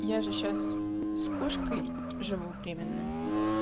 я же сейчас с кошкой живу временно